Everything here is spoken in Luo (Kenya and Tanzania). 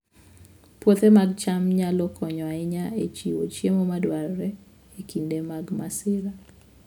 Puothe mag cham nyalo konyo ahinya e chiwo chiemo madwarore e kinde mag masira